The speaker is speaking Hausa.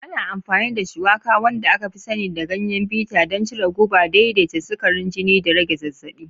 Ana amfani da Shuwaka, wanda aka fi sani da Ganyen Bitter, don cire guba, daidaita sukarin jini, da rage zazzabi.